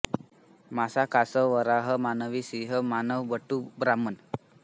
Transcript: मासा कासव वराह मानवी सिंह वामन बटू ब्राह्मण